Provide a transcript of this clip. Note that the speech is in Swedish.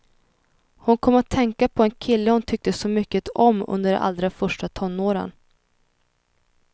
Hon kom att tänka på en kille hon tyckte så mycket om under de allra första tonåren.